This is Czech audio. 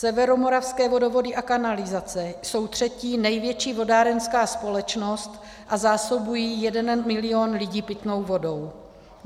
Severomoravské vodovody a kanalizace jsou třetí největší vodárenská společnost a zásobují jeden milion lidí pitnou vodou.